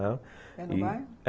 ãh, é no bairro? é